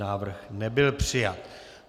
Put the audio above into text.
Návrh nebyl přijat.